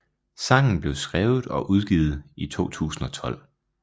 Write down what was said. Sangen blev skrevet og udgivet i 2012